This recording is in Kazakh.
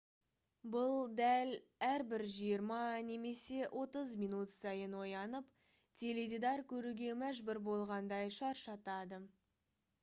бұл дәл әрбір жиырма немесе отыз минут сайын оянып теледидар көруге мәжбүр болғандай шаршатады